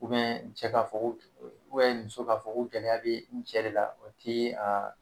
cɛ k'a fɔ ko muso k'a fɔ ko gɛlɛya bɛ n cɛ de la o tɛ a